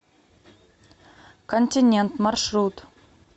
континент маршрут